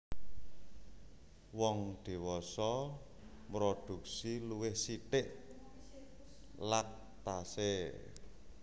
Wong dhiwasa mrodhuksi luwih sithik lactase